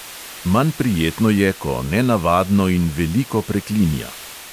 Manj prijetno je, ko nenavadno in veliko preklinja.